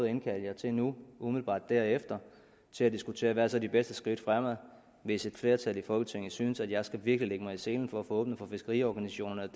at indkalde jer til nu umiddelbart derefter til at diskutere hvad der så er de bedste skridt fremad hvis et flertal i folketinget synes at jeg virkelig mig i selen for at få åbnet for fiskeriorganisationerne